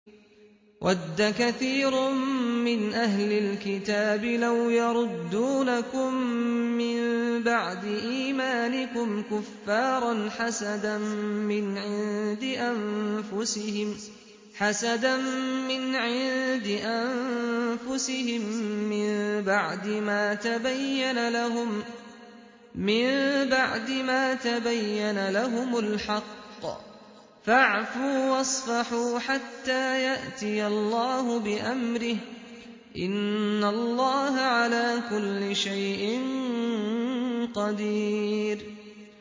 وَدَّ كَثِيرٌ مِّنْ أَهْلِ الْكِتَابِ لَوْ يَرُدُّونَكُم مِّن بَعْدِ إِيمَانِكُمْ كُفَّارًا حَسَدًا مِّنْ عِندِ أَنفُسِهِم مِّن بَعْدِ مَا تَبَيَّنَ لَهُمُ الْحَقُّ ۖ فَاعْفُوا وَاصْفَحُوا حَتَّىٰ يَأْتِيَ اللَّهُ بِأَمْرِهِ ۗ إِنَّ اللَّهَ عَلَىٰ كُلِّ شَيْءٍ قَدِيرٌ